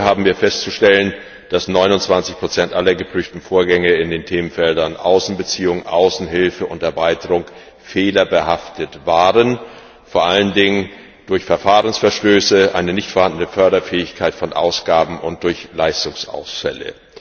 Gleichwohl haben wir festzustellen, dass 29 aller geprüften Vorgänge in den Themenfeldern Außenbeziehungen, Außenhilfe und Erweiterung fehlerbehaftet waren, vor allen Dingen durch Verfahrensverstöße, eine nicht vorhandene Förderfähigkeit von Ausgaben und durch Leistungsausfälle.